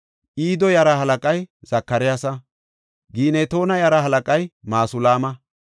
Ido yaraa halaqay Zakaryaasa. Ginetoona yaraa halaqay Masulaama.